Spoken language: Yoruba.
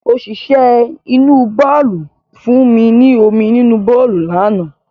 Òṣìṣẹ́ inú bàálù fún mi ní omi nínú bàálù lánàá